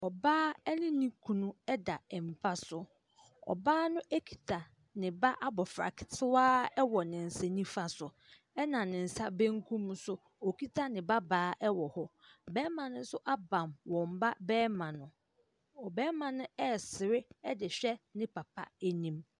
Ɔbaa ɛne ne kunu ɛda mpa so. Ɔbaa no ekita ne ba abofra ketewa ɛwɔ n'ensa nifa so ɛna n'ensa benkum so okita ne ba baa ɛwɔ hɔ. Bɛma n'enso abam wɔnba bɛma no. Ɔbɛma no ɛsere ɛde hwɛ ne papa anim.